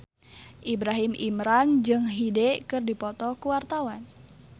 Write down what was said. Ibrahim Imran jeung Hyde keur dipoto ku wartawan